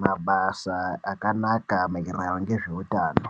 mabasa akanaka maererano ngezveutano.